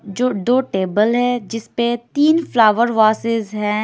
जो दो टेबल है जिसमे तीन फ्लावर वसेस है।